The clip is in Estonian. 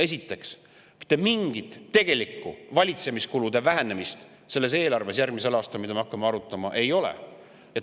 Esiteks, mitte mingit tegelikku valitsemiskulude vähenemist selles järgmise aasta eelarves, mida me hakkame arutama, ei ole.